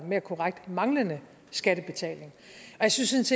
mere korrekt manglende skattebetaling jeg synes